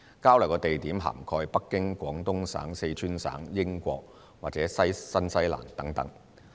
交流地點涵蓋北京、廣東省、四川省、英國和新西蘭等。